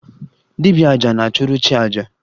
Dibia 'aja' na-achụrụ chi aja